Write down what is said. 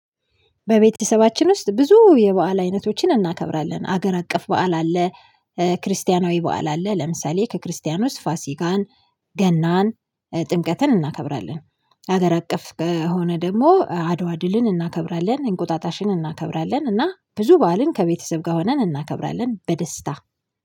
በቤተሰባችን ውስጥ ብዙ የበአል አይነቶችን እናከብራለን ሀገር አቀፍ በዓል አለ ክርስቲያናዊ በዓል አለ ለምሳሌ ከክርስቲያኖስ ፋሲጋን ገናን ጥምቀትን እናከብራለን። ሀገር አቀፍ ከሆነ ደግሞ አድዋ ድልን እናከብራለን እንቁጣጣሽን እናከብራለን እና ብዙ በዓልን ከቤተሰብ ጋር ሆነን እናከብራለን በደስታ